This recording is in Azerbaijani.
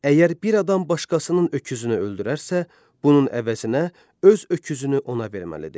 Əgər bir adam başqasının öküzünü öldürərsə, bunun əvəzinə öz öküzünü ona verməlidir.